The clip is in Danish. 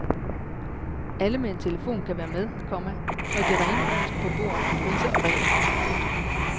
Alle med en telefon kan være med, komma når de rene ord skal på bordet om priser og regler. punktum